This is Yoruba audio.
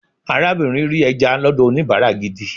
arabinrin ri eja lọdọ onibara gidi